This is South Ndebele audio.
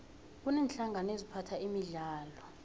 kuneenhlangano eziphatha imidlalo